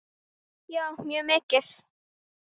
Já, mjög mikið.